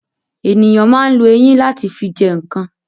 Ènìyàn ma ń lo eyín láti fi jẹ ǹkan